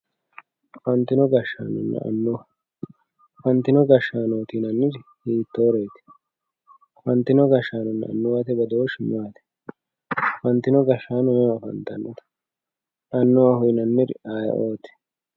afantino gashaanonna annuwa afantino gashaanooti yinanniri hiittoreeti afantino gashaanonna annuwate badooshshi maati afantino gashshaano mama afantannote annuwaho yinanniri aye'ooti